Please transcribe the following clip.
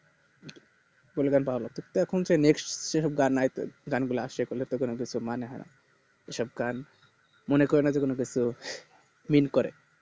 এখন যে next যে সব গান আইছে গানগুলা সেগুলাতো কোনো কিছুর মানে হয় সব গান মনে করোনা যখন এটা কেউ feel করে